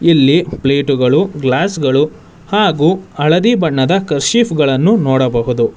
ಇಲ್ಲಿ ಪ್ಲೇಟುಗಳು ಗ್ಲಾಸ್ ಗಳು ಹಾಗೆ ಹಳದಿ ಬಣ್ಣದ ಕರ್ಚಿಫ್ ಗಳನ್ನು ನೋಡಬಹುದು.